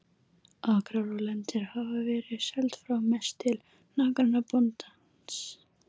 Akrar og lendur hafa verið seld frá, mest til nágrannabóndans.